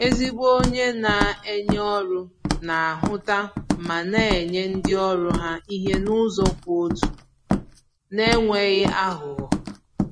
Ezigbo onye na-enye ọrụ na ahụta ma na-enye ndi ọrụ ha ihe n’ụzọ kwụ ọtọ, n’enweghị àghụ̀ghọ.